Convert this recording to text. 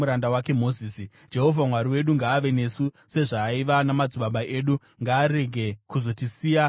Jehovha Mwari wedu ngaave nesu sezvaaiva namadzibaba edu; ngaarege kuzotisiya kana kutirasa.